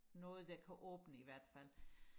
noget der kan åbne i hvert fald